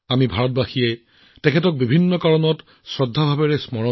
আমি ভাৰতীয়সকলে বহু কাৰণত তেওঁক স্মৰণ কৰি শ্ৰদ্ধা জনাইছো